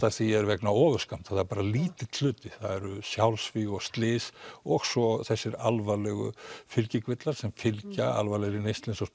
því er vegna ofurskammts það er lítill hluti það eru sjálfsvíg og slys og svo þessi alvarlegu fylgikvillar sem fylgja alvarlegri neyslu eins og